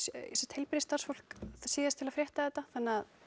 heilbrigðisstarfsfólk síðust til að frétta þetta þannig að